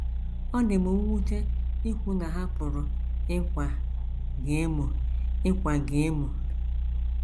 Ọ dị mwute ikwu na ha pụrụ ịkwa gị emo ịkwa gị emo.